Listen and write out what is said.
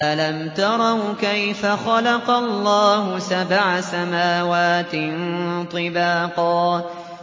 أَلَمْ تَرَوْا كَيْفَ خَلَقَ اللَّهُ سَبْعَ سَمَاوَاتٍ طِبَاقًا